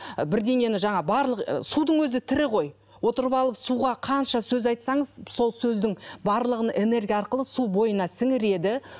ы бірдеңені жаңағы барлық ы судың өзі тірі ғой отырып алып суға қанша сөз айтсаңыз сол сөздің барлығын энергия арқылы су бойына сіңіреді